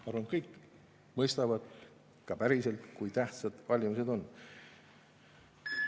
Ma arvan, kõik mõistavad ka päriselt, kui tähtsad valimised on.